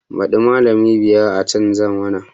Baɗi malamai biyar za a canza mana